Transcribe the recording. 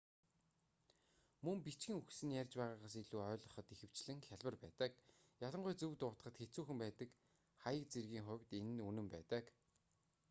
мөн бичгэн үгс нь ярьж байгаагаас илүү ойлгоход ихэвчлэн хялбар байдаг ялангуяа зөв дуудахад хэцүүхэн байдаг хаяг зэргийн хувьд энэ нь үнэн байдаг